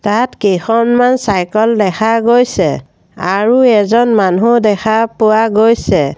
ইয়াত কেইখনমান চাইকেল দেখা গৈছে আৰু এজন মানু্হ দেখা পোৱা গৈছে।